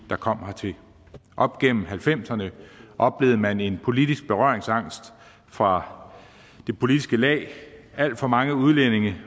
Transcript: der kom hertil op gennem nitten halvfemserne oplevede man en politisk berøringsangst fra det politiske lag alt for mange udlændinge